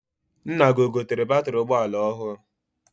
Nna gị egotere batịrị ụgbọala ọhụụ?